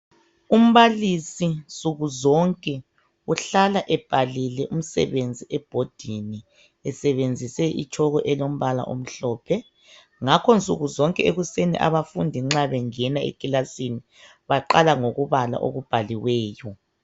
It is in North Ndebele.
Umbalisi nsuku zonke uhlala ebhalile umsebenzi ebhodini esebenzise itshoko elombala omhlophe. Ngakho nsuku zonke ekuseni abafundi nxa bengena ekilasini baqala ngokubala okubhaliweyo.